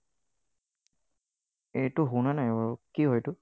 এইটো শুনা নাই বাৰু, কি হয় এইটো?